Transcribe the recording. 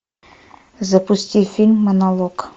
запусти фильм монолог